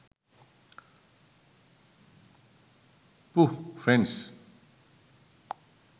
pooh friends